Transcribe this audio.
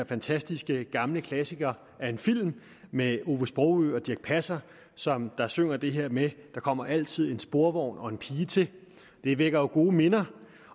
fantastiske gamle klassiker af en film med ove sprogø og dirch passer som synger det her med at der kommer altid en sporvogn og en pige til det vækker jo gode minder